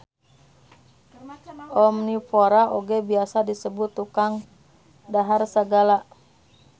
Omnivora oge biasa disebut tukang dahar sagala.